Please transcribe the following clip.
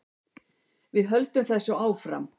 Við höldum þessu áfram